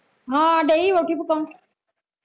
ਹਾ ਡਈ ਰੋਟੀ ਪਕਾਉਣ